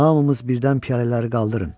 Hamımız birdən piyalələri qaldırın.